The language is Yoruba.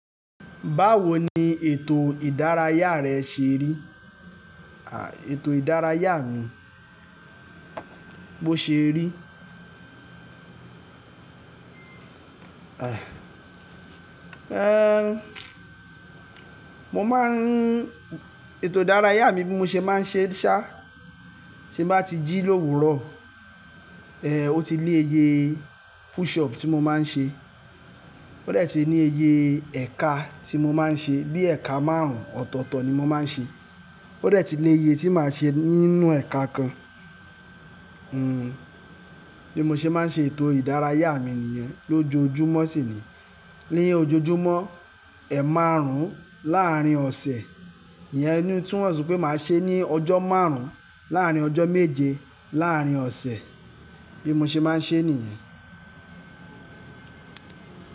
Báwo ni ètò ìdárayá rẹ ṣe rí? Ètò ìdárayá mi, bó ṣe rí? Mo máa ń Ètò ìdárayá mi bí mo ṣe máa ń ṣe ṣá, tí mo bá ti jí l'òwúrò, ó ti lé iye push up tí mo máa ń ṣe. Ó dẹ̀ ti ní iye ẹka tí mo máa ń ṣe, bí ẹka márùn-ún ọ̀tọ̀tọ̀ ni mo máa ń ṣe. Ó rẹ̀ ti lé iye tí màá ṣe nínú ẹka kan. Bí mo ṣe máa ń ṣe ètò ìdárayá mi nìyẹn lójoojúmọ́ sì ni. Ni ojoojúmọ́, ẹ márùn-ún láàrín ọ̀sẹ̀. Iyẹn ni ó tún mọ̀ si pé màá ṣe ní ọjọ́ márùn-ún láàrín ọjọ́ méje láàrín ọ̀sẹ̀. Bí mo ṣe máa ń ṣe nìyẹn.